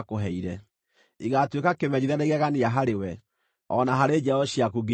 Igaatuĩka kĩmenyithia na igegania harĩwe, o na harĩ njiaro ciaku nginya tene.